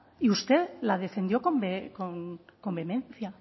y usted la defendió con vehemencia